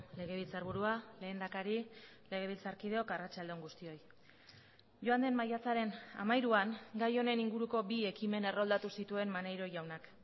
legebiltzarburua lehendakari legebiltzarkideok arratsalde on guztioi joan den maiatzaren hamairuan gai honen inguruko bi ekimen erroldatu zituen maneiro jaunak